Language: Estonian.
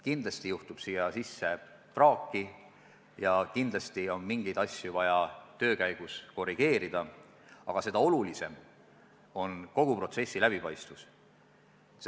Kindlasti juhtub siia sisse praaki ja kindlasti on mingeid asju vaja töö käigus korrigeerida, aga seda olulisem on kogu protsessi läbipaistvus.